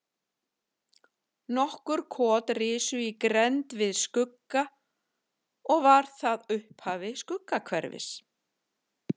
Nokkur kot risu í grennd við Skugga og var það upphaf Skuggahverfis.